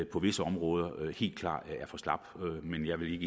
på visse områder men jeg vil